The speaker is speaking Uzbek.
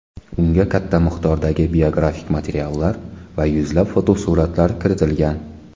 Unga katta miqdordagi biografik materiallar va yuzlab fotosuratlar kiritilgan.